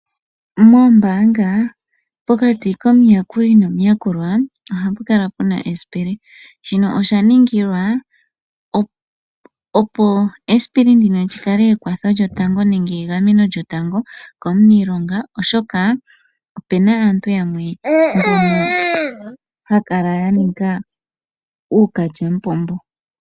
Mombaanga, pokati komuyakuli nomuyakulwa oha pu kala pwa tulwa esipili. Shino osha ningilwa opo esipili ndino li kale ekwatho lyotango nenge egameno lyotango komuniilonga oshoka opuna aayakulwa yamwe ha ya kala ya nika uukalyamupombo.